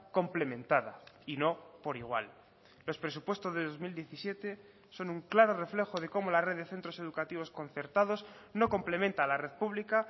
complementada y no por igual los presupuestos de dos mil diecisiete son un claro reflejo de cómo la red de centros educativos concertados no complementa la red pública